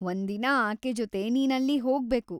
ಒಂದಿನ ಆಕೆ ಜೊತೆ ನೀನ್‌ ಅಲ್ಲಿ ಹೋಗ್ಬೇಕು.